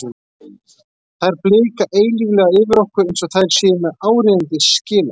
Þær blika eilíflega yfir okkur, eins og þær séu með áríðandi skila